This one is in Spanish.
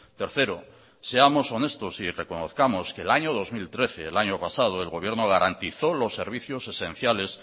tercero seamos honestos y reconozcamos que el año dos mil trece el año pasado el gobierno garantizó los servicios esenciales